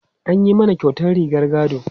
An yi mana kyautar rigar gado.